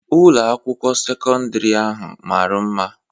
Ụlọ akwụkwọ sekọndri ahụ mara mma